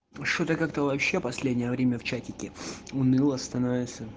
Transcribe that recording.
что-то как-то вообще последнее время в чатике уныло становится